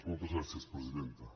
moltes gràcies presidenta